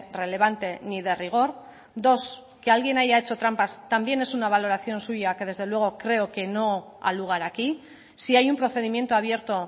relevante ni de rigor dos que alguien haya hecho trampas también es una valoración suya que desde luego creo que no ha lugar aquí si hay un procedimiento abierto